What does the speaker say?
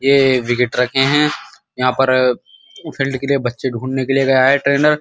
ये एक यहाँ पर बच्चे ढूँढ़ने के लिए गया है ट्रेनर --